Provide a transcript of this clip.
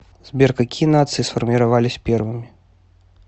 сбер какие нации сформировались первыми